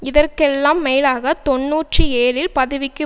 இதற்கெல்லாம் மேலாக தொன்னூற்றி ஏழில் பதவிக்கு